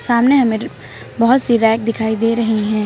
सामने बहोत सी रैक दिखाई दे रही हैं।